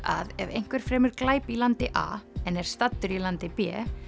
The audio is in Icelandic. að ef einhver fremur glæp í landi a en er staddur í landi b